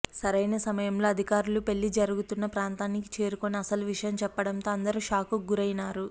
సరైన సమయంలో అధికారులు పెళ్లి జరుగుతున్న ప్రాంతానికి చేరుకుని అసలు విషయం చెప్పడంతో అందరూ షాక్ కు గురైనారు